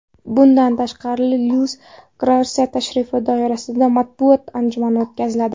Bundan tashqari Luis Garsiya tashrifi doirasida matbuot anjumani o‘tkaziladi.